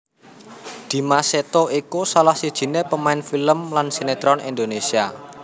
Dimas Seto iku salah sijiné pamain film lan sinetron Indonésia